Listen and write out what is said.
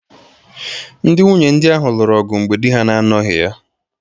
Ndị nwunye di ahụ lụrụ ọgụ mgbe di ha na-anọghị ya